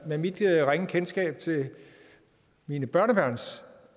med mit ringe kendskab til mine børnebørns